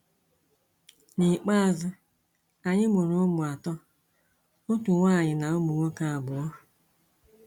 N’ikpeazụ, anyị mụrụ ụmụ atọ, otu nwaanyị na ụmụ nwoke abụọ.